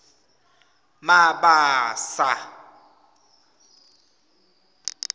mabasa